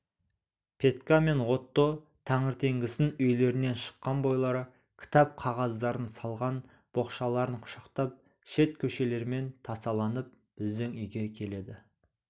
петька мен отто таңертеңгісін үйлерінен шыққан бойлары кітап-қағаздарын салған боқшаларын құшақтап шет көшелермен тасаланып біздің үйге келеді